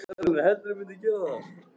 Drífu varð hugsað til þess að heima á